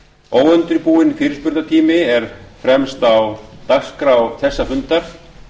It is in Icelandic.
óundirbúinn fyrirspurnatími er fremst á dagskrá þessa fundar